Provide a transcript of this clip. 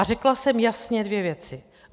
A řekla jsem jasně dvě věci.